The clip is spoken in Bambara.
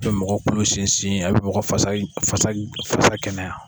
A bɛ mɔgɔ kolo sinsin a bi mɔgɔ fasa kɛnɛya.